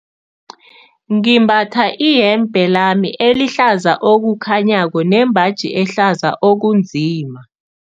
Ngimbatha iyembe lami elihlaza okukhanyako nembaji ehlaza okunzima.